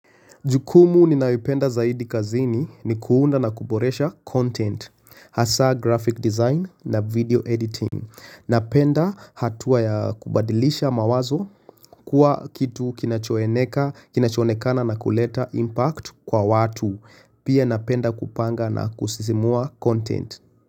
Jukumu ninalo penda zaidi kazini ni kuunda na kuboresha content, hasa graphic design na video editing. Napenda hatua ya kubadilisha mawazo kuwa kitu kinacho onekana na kuleta impact kwa watu. Pia napenda kupanga na kusisimua content.